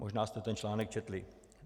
Možná jste ten článek četli.